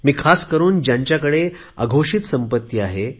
मी खास करुन ज्यांच्याकडे अघोषित संपत्ती आहे